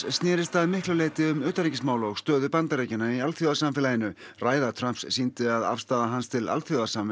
snerist að miklu leyti um utanríkismál og stöðu Bandaríkjanna í alþjóðasamfélaginu ræða Trumps sýndi að afstaða hans til alþjóðasamvinnu